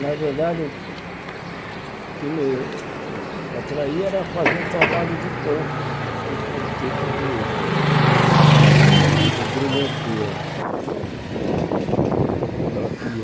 Na verdade, o que me atraía era fazer um trabalho de campo Sei, tipo tipo de de grimensura, Sei topografia.